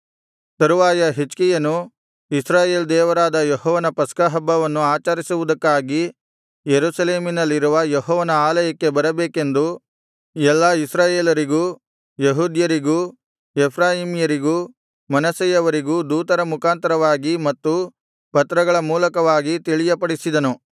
ತರುವಾಯ ಹಿಜ್ಕೀಯನು ಇಸ್ರಾಯೇಲ್ ದೇವರಾದ ಯೆಹೋವನ ಪಸ್ಕಹಬ್ಬವನ್ನು ಆಚರಿಸುವುದಕ್ಕಾಗಿ ಯೆರೂಸಲೇಮಿನಲ್ಲಿರುವ ಯೆಹೋವನ ಆಲಯಕ್ಕೆ ಬರಬೇಕೆಂದು ಎಲ್ಲಾ ಇಸ್ರಾಯೇಲರಿಗೂ ಯೆಹೂದ್ಯರಿಗೂ ಎಫ್ರಾಯೀಮ್ಯರಿಗೂ ಮನಸ್ಸೆಯವರಿಗೂ ದೂತರ ಮುಖಾಂತರವಾಗಿ ಮತ್ತು ಪತ್ರಗಳ ಮೂಲಕವಾಗಿ ತಿಳಿಯಪಡಿಸಿದನು